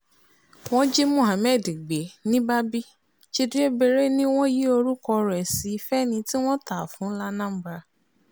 wọ́n jí mohammed gbé ní babí chidebere ni wọ́n yí orúkọ rẹ̀ sí fẹ́ni tí wọ́n tà á fún lanambra